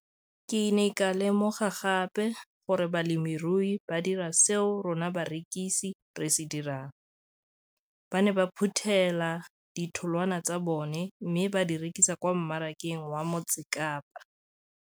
Ke ne ka lemoga gape gore balemirui ba dira seo rona barekisi re se dirang - ba ne ba phuthela ditholwana tsa bona mme ba di rekisa kwa marakeng wa Motsekapa.